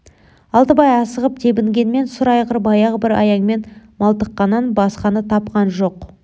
алтыбай асығып тебінгенмен сұр айғыр баяғы бір аяңмен малтыққаннан басқаны тапқан жоқ